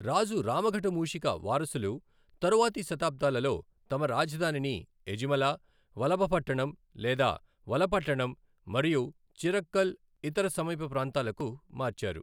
రాజు రామఘట మూషిక వారసులు తరువాతి శతాబ్దాలలో తమ రాజధానిని ఎజిమల, వలభపట్టణం లేదా వలపట్టణం మరియు చిరక్కల్, ఇతర సమీప ప్రాంతాలకు మార్చారు.